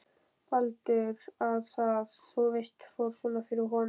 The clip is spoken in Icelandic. Baldur. að það, þú veist, fór svona fyrir honum.